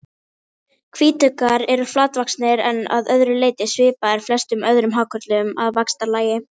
Hvítuggar eru flatvaxnir en að öðru leyti svipaðir flestum öðrum hákörlum að vaxtarlagi.